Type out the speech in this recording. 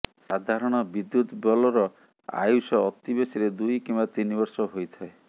ସାଧାରଣ ବିଦ୍ୟୁତ୍ ବଲ୍ବର ଆୟୁଷ ଅତି ବେଶୀରେ ଦୁଇ କିମ୍ବା ତିନି ବର୍ଷ ହୋଇଥାଏ